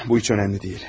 Bu heç önəmli deyil.